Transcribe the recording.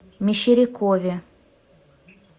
мещерякове